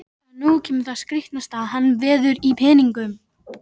En nú kemur það skrítnasta: hann veður í peningum!